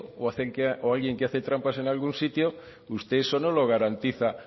o alguien que hace trampas en algún sitio usted eso no lo garantiza